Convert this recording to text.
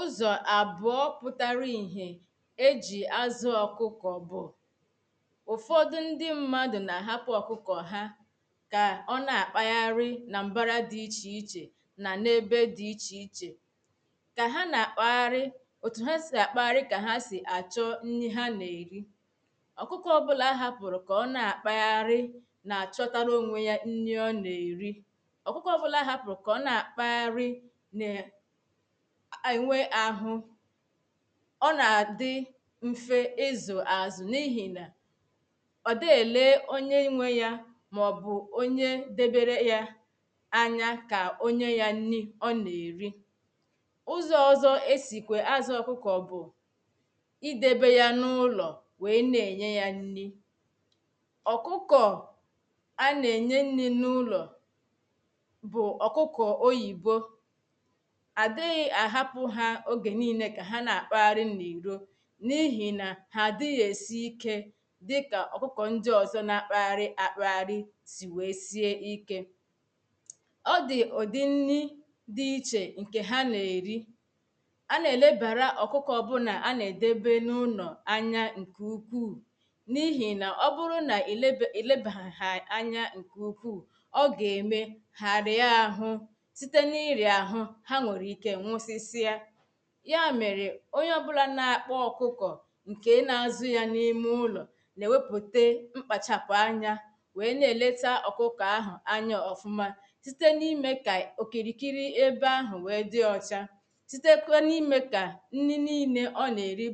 ụẓọ̄ abụọ pụtarà ihè e jì azụ̄ ọkụkọ bụ̀ ụfọdụ̀ ndị̄ mmadụ̀ na ahapụ̀ ọkụkọ̀ hà kà ọ na-akpagharị na mbara dị iche ichè na na-ebe dị iche ichè ka ha na-akpaghari otū ha si akpaghari ka ha si achọ̄ nni ha na-eri ọkụkọ̀ ọbụlà ahapụrụ ka ọ na-akpaghari na-achọtarā onwe ya nni ọ na-eri ọkụkọ̀ ọbụlà ahapụrụ ka ọ na-akpaghari e nwè ahụ̀ ọ na-adị̄ mfē ịzụ azụ na ihi nà ọ dịghị̀ ele onye nwe ya maọbụ̀ onye debere ya anya ka onye ya nni ọ na-eri ụzọ̀ ọzọ esikwe azụ ọkụkọ bụ̀ idebe ya na ụlọ̀ weè na-enye ya nnī ọkụkọ̀ a na-enye nnī na ụlọ̀ bụ̀ ọkụkọ̀ oyibo adịghị ahapụ ha oge niile ka ha na-akpagharị na iro na ihi na ha adịghị esi ike dịkà ọkụkọ ndị ọzọ na-akpagharị akpagharị weè sie ike ọ dị ụdị nnī dị iche nkè ha na-eri a na-elebara ọkụkọ ọbụla a na-edebe na ụlọ̀ anya nke ukwu na ihi na ọbụrụ na ilebeha ha anya nke ukwu ọ ga-eme ha arịa ahụ̄ sitē na-ịra ahụ, ha nwere ike nwụsisịa ya mere onye ọbụla na-akpa ọkụkọ̀ nke na-azụ ya na ime ụlọ̀ na eweputē mkpachapụ anya weè na-eleta ọkụkọ ahụ anya ọfụmà sitē na ime ka okirikiri ebe ahụ weè dị ọchà sitēkwenu ime ka nni niile ọ na-eri